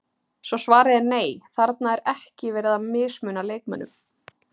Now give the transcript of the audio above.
Svo svarið er nei, þarna er ekki verið að mismuna leikmönnum.